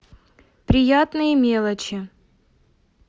приятные мелочи